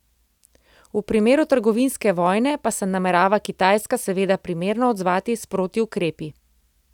V primeru trgovinske vojne pa se namerava Kitajska seveda primerno odzvati s protiukrepi.